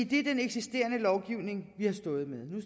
det er den eksisterende lovgivning vi har stået med